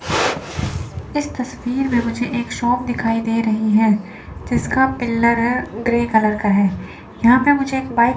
इस तस्वीर मुझे एक शॉप दिखाई दे रही है जिसका पिल्लर है ग्रे कलर का है यहां पे मुझे एक बाइक --